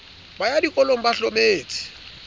ba ya dikolong ba hlometse